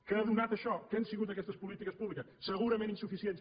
què ha donat això què han sigut aquestes polítiques públiques segurament insuficients